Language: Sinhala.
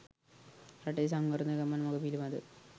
රටේ සංවර්ධන ගමන් මග පිළිබදව